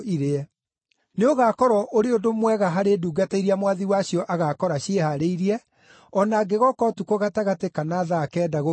Nĩũgakorwo ũrĩ ũndũ mwega harĩ ndungata iria mwathi wacio agaakora ciĩhaarĩirie, o na angĩgooka ũtukũ gatagatĩ kana thaa kenda gũgĩkĩa.